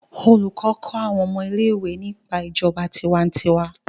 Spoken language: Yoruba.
olùkó kó awọn ọmọ ilé ìwé ní nípa ìjọba tiwantiwa